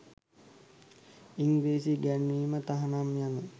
ඉංග්‍රීසි ඉගැන්වීම තහනම් යන